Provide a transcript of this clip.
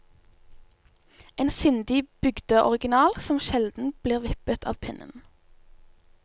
En sindig bygdeoriginal som sjelden blir vippet av pinnen.